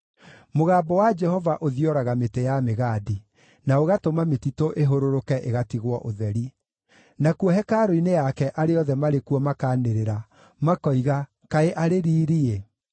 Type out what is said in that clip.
Mũgambo wa Jehova ũthioraga mĩtĩ ya mĩgandi, na ũgatũma mĩtitũ ĩhũrũrũke ĩgatigwo ũtheri. Nakuo hekarũ-inĩ yake arĩa othe marĩ kuo makaanĩrĩra makoiga, “Kaĩ arĩ riiri-ĩ!”